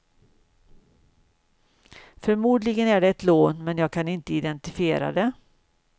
Förmodligen är det ett lån, men jag kan inte identifiera det.